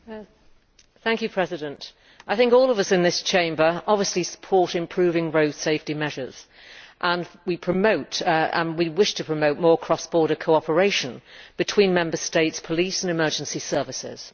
Mr President, I think all of us in this Chamber obviously support improving road safety measures and we wish to promote more cross border cooperation between Member States' police and emergency services.